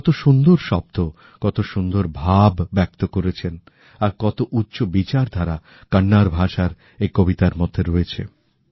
কত সুন্দর শব্দ কত সুন্দর ভাব ব্যক্ত করেছেন আর কত উচ্চ বিচারধারা কন্নড় ভাষার এই কবিতার মধ্যে রয়েছে